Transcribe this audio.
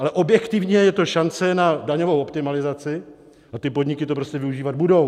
Ale objektivně je to šance na daňovou optimalizaci a ty podniky to prostě využívat budou.